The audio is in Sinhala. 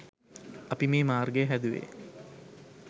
අපි මේ මාර්ගය හැදුවේ